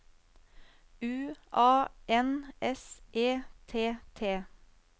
U A N S E T T